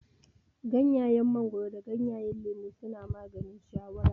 Gyanyen mangoro da gyanyen lemon suna maganin shawara